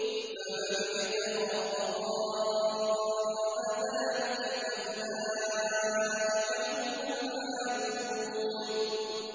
فَمَنِ ابْتَغَىٰ وَرَاءَ ذَٰلِكَ فَأُولَٰئِكَ هُمُ الْعَادُونَ